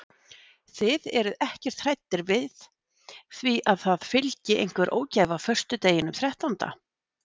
Þið eruð ekkert hræddir við því að það fylgi einhver ógæfa föstudeginum þrettánda?